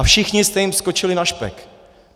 A všichni jste jim skočili na špek.